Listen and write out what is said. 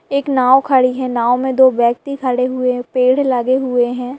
एक नाव खड़ी है नाव में दो व्यक्ति खड़े हुए हैं पेड़ लगे हुए हैं।